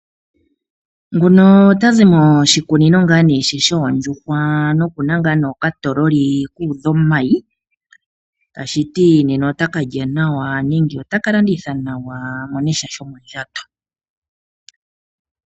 Nguno otazi moshikunino shoondjuhwa noku na okatoololi ku udha omayi. Shika osha hala okutya nena ota ka lya nawa nenge ota ka landitha nawa a mone sha shomondjato.